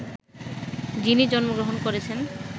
যিনি জন্মগ্রহণ করেছেন